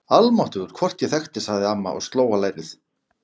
Almáttugur, hvort ég þekkti hann sagði amma og sló á lærið.